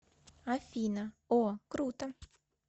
афина о круто